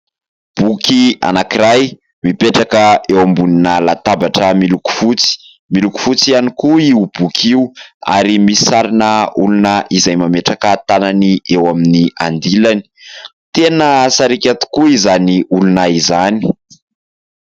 Boky anankiray mipetraka eo ambonina latabatra miloko fotsy. Miloko fotsy ihany koa io boky io ary misy sarina olona izay mametraka tanany eo amin'ny andilany. Tena sariaka tokoa izany olona izany.